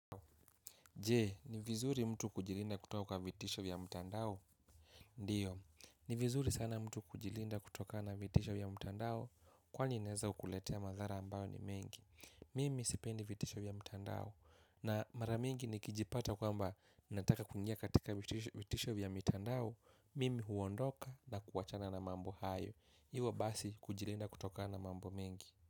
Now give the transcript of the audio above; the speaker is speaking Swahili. Je, ni vizuri mtu kujilinda kutoka kwa vitisho vya mtandao? Ndiyo, ni vizuri sana mtu kujilinda kutokana na vitisho ya mtandao kwani inaeza kukuletea madhara ambayo ni mengi. Mimi sipendi vitisho vya mtandao na mara mingi nikijipata kwamba nataka kuingia katika vitisho vya mitandao Mimi huondoka na kuachana na mambo hayo ivo basi kujilinda kutoka na mambo mengi.